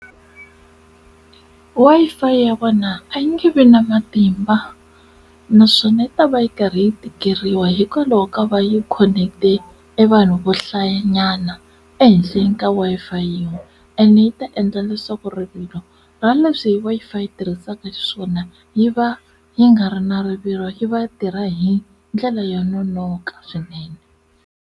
Wi-Fi ya vona a yi nge vi na matimba naswona yi ta va yi karhi yi tikeriwa hikwalaho ka va yi khoneketile e vanhu vo hlayanyana endla hi ka Wi-Fi yin'we ene yi ta endla leswaku rivilo ra leswi Wi-Fi yi tirhisaka xiswona yi va yi nga ri na rivilo yi vatirha hi ndlela yo nonoka swinene.